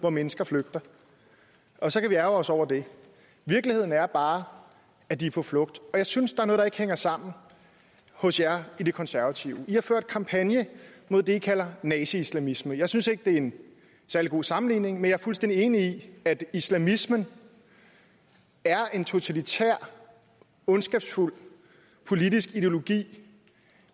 hvor mennesker flygter og så kan vi ærgre os over det virkeligheden er bare at de er på flugt jeg synes der er noget der ikke hænger sammen hos jer i det konservative i har ført kampagne mod det i kalder naziislamisme jeg synes ikke det er en særlig god sammenligning men jeg er fuldstændig enig i at islamismen er en totalitær ondskabsfuld politisk ideologi